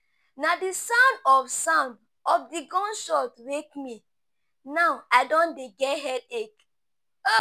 Na di sound of sound of di gun shot wake me, now I don dey get headache.